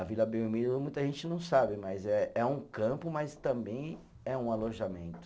A Vila Belmiro muita gente não sabe, mas é é um campo, mas também é um alojamento.